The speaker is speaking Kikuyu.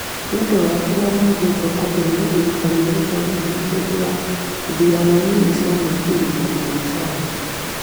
niũndu wa kĩrĩa moigĩte atĩ nĩ gũthinĩkanio nĩ borithi hĩndĩ ya ĩthurano nini cia Naikuru na Bonchari.